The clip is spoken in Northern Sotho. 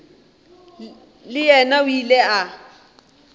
le yena o ile a